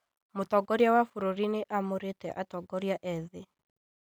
Mũtongoria wa bũrũri nĩamũrĩte atongoria ethĩ